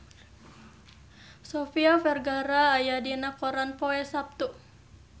Sofia Vergara aya dina koran poe Saptu